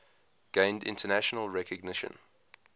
gained international recognition